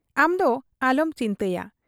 ᱟᱢᱫᱚ ᱟᱞᱚᱢ ᱪᱤᱱᱛᱟᱭᱟ ᱾